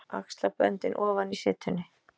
Axlaböndin ofan í setunni.